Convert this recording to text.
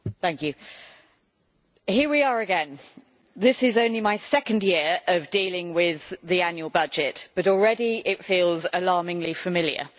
Mr President, here we are again. This is only my second year of dealing with the annual budget, but already it feels alarmingly familiar.